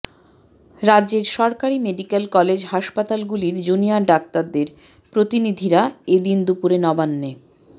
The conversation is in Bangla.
রাজ্যের সরকারি মেডিক্যাল কলেজ হাসপাতালগুলির জুনিয়র ডাক্তারদের প্রতিনিধিরা এ দিন দুপুরে নবান্নে